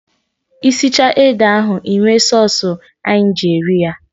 Ị sichaa ede ahụ, Ị mee sọsụ anyị ji eri ya.